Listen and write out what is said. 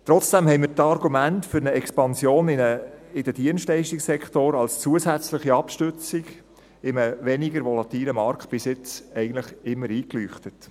Trotzdem haben mir die Argumente für eine Expansion in den Dienstleistungssektor als zusätzliche Abstützung in einem weniger volatilen Markt bis jetzt eigentlich immer eingeleuchtet.